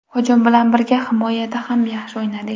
Hujum bilan birga himoyada ham yaxshi o‘ynadik.